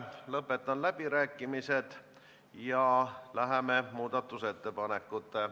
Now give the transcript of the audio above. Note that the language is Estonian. Nende näpunäidete järgi esitati neli muudatusettepanekut.